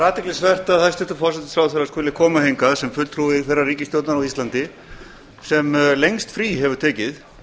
athyglisvert að hæstvirtur forsætisráðherra skuli koma hingað sem fulltrúi þeirrar ríkisstjórnar á íslandi sem lengst frí hefur tekið